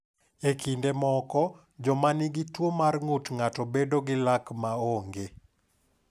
E kinde moko, joma nigi tuwo mar ng’ut ng’ato bedo gi lak ma onge.